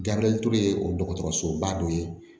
Gabiriyɛri ture ye o dɔgɔtɔrɔsoba dɔ ye